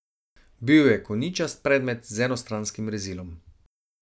Bil je koničast predmet z enostranskim rezilom.